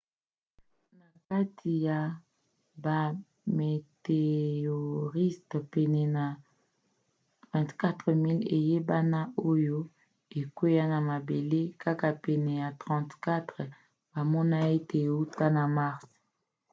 na kati ya bameteoriste pene ya 24 000 eyebana oyo ekwea na mabele kaka pene ya 34 bamona ete euta na mars